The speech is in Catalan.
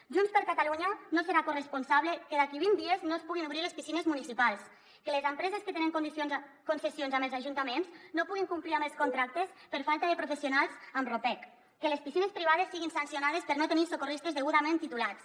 junts per catalunya no serà corresponsable que d’aquí a vint dies no es puguin obrir les piscines municipals que les empreses que tenen concessions amb els ajuntaments no puguin complir amb els contractes per falta de professionals amb ropec que les piscines privades siguin sancionades per no tenir socorristes degudament titulats